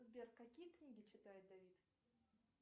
сбер какие книги читает давид